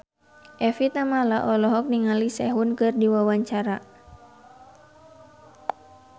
Evie Tamala olohok ningali Sehun keur diwawancara